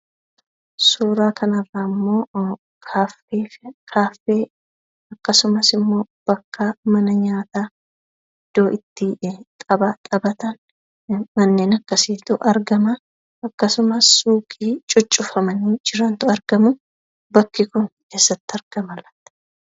Suuraa kanarra immoo kaaffee fi akkasumas immoo mana nyaataa iddoo itti taphatan kanneen akkasiitu argama. Akkasumas suuqii cuccufamanii jirantu argamu. Bakki kun eessatti argama laata?